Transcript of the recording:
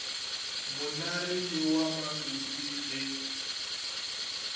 monare le wa malope ge